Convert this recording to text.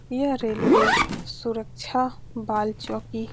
यह रेलवे सुरक्षा बालचोकी --